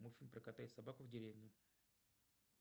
мультфильм про кота и собаку в деревне